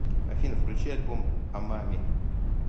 афина включи альбом амами